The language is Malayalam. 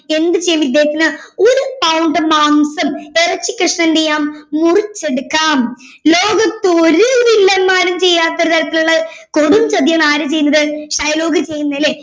എന്ത് ചെയ്യും ദേഹത്തിന്ന് ഒരു pound മാംസം ഇറച്ചിക്കഷ്‌ണം എന്തെയ്യാം മുറിച്ചെടുക്കാം. ലോകത്ത് ഒരു വില്ലന്മാരും ചെയ്യാത്ത തരത്തിലുള്ള കൊടും ചതിയാണ് ആര് ചെയ്യുന്നത് ഷൈലോക്ക് ചെയ്യുന്നേ അല്ലെ